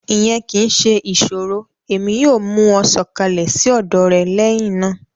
Iyẹn kii ṣe iṣoro Emi yoo mu wọn sọkalẹ si ọdọ rẹ lẹhinna.